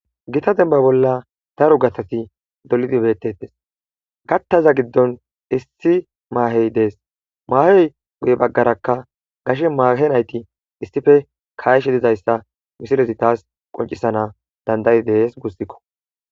gita demba bolla daro gatati dolidi bettetes gattaza giddon issi maahey dees maahey guye baggarakka gashe maahe nayti issife kayshe dizayssa misilezi taas qoncisana dandayi dees gussikko